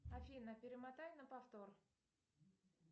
афина перемотай на повтор